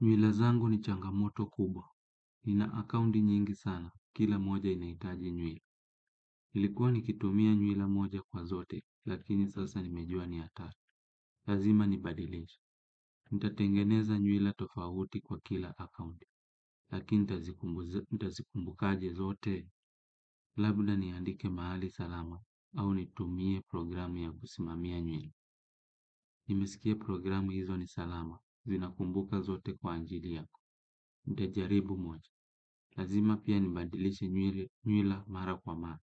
Nywila zangu ni changamoto kubwa. Nina akaunti nyingi sana, kila moja inahitaji nywila. Ilikuwa nikitumia nywila moja kwa zote, lakini sasa nimejua ni hatari. Lazima nibadilishe. Nitatengeneza nywila tofauti kwa kila akaunti, lakini nitazikumbuka aje zote, labda niandike mahali salama, au nitumie programu ya kusimamia nywila. Nimesikia programu hizo ni salama, zinakumbuka zote kwa ajili yako. Nitajaribu moja. Lazima pia nibadilishe nywila mara kwa mara,